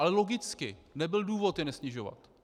Ale logicky nebyl důvod je nesnižovat.